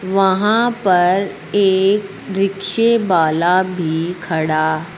वहां पर एक रिक्शे वाला भी खड़ा--